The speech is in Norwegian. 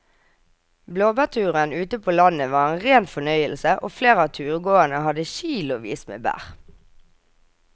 Blåbærturen ute på landet var en rein fornøyelse og flere av turgåerene hadde kilosvis med bær.